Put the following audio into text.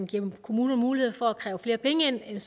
giver kommunerne mulighed for at kræve flere penge ind